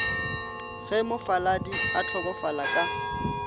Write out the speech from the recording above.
ge mofaladi a hlokofala ka